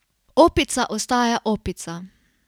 Opica ostaja opica.